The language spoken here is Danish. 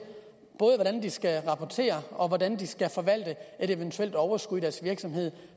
hvordan de skal rapportere og hvordan de skal forvalte et eventuelt overskud i deres virksomhed